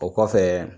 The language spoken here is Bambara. O kɔfɛ